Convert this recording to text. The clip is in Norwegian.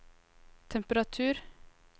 temperatur